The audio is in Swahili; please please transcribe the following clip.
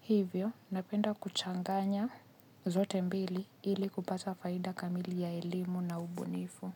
Hivyo, napenda kuchanganya zote mbili ili kupata faida kamili ya elimu na ubunifu.